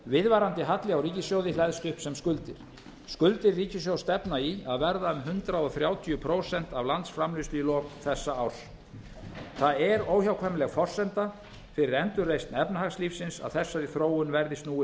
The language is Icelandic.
viðvarandi halli á ríkissjóði hleðst upp sem skuldir skuldir ríkissjóðs stefna í að verða um hundrað þrjátíu prósent af landsframleiðslu í lok þessa árs það er óhjákvæmileg forsenda fyrir endurreisn efnahagslífsins að þessari þróun verði snúið